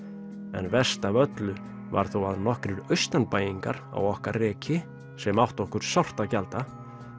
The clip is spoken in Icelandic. en verst af öllu var þó að nokkrir á okkar reki sem áttu okkur sárt að gjalda